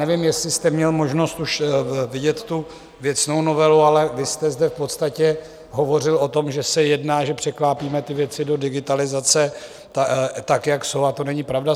Nevím, jestli jste měl možnost už vidět tu věcnou novelu, ale vy jste zde v podstatě hovořil o tom, že se jedná - že překlápíme ty věci do digitalizace tak, jak jsou, a to není pravda.